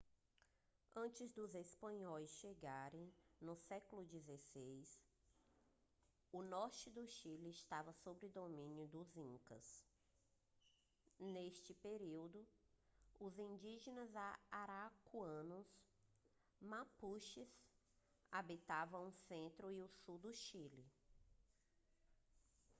antes dos espanhóis chegarem no século 16 o norte do chile estava sob domínio dos incas. neste período os indígenas araucanos mapuches habitavam o centro e o sul do chile